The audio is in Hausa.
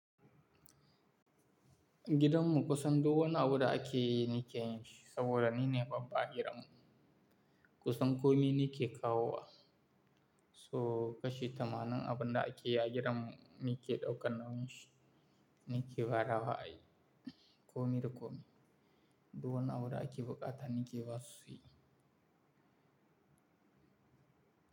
Gidanmu kusan duwunnin abu da akeyi nikeyin shi saboda nine baba a gidanmu. Kusan komi nike kawo. So kashi tamanin abinda ake a gidanmu nike ɗaukan nauyi shi Nike badawa ayi komi da komi. Duk wani abu da ake buƙata nike basu suyi.